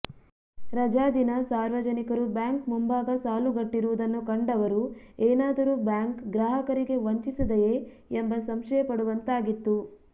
ರಜಾ ದಿನ ಸಾರ್ವಜನಿಕರು ಬ್ಯಾಂಕ್ ಮುಂಭಾಗ ಸಾಲುಗಟ್ಟಿರುವುದನ್ನು ಕಂಡವರು ಏನಾದರೂ ಬ್ಯಾಂಕ್ ಗ್ರಾಹಕರಿಗೆ ವಂಚಿಸಿದೆಯೇ ಎಂಬ ಸಂಶಯಪಡುವಂತಾಗಿತ್ತು